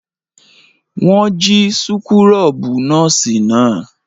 Wọ́n jí súkúrọ́bù nọ́ọ́sì náà.